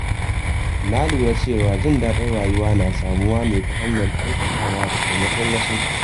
Na lura cewa jin daɗin rayuwa na samuwa ne ta hanyar kyautatawa da taimakon wasu.